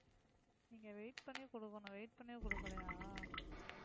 நீங்க wait பண்ணி கொடுக்கணும். wait பண்ணியும் கொடுக்கலையா?